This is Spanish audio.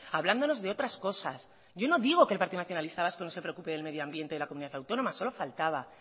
hablándonos de otras cosas yo no digo que el partido nacionalista vasco no se preocupe del medio ambiente de la comunidad autónoma solo faltaba